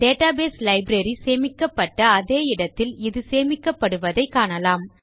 database library சேமிக்கப்பட்ட அதே இடத்தில் இது சேமிக்கப்படுவதை காணலாம்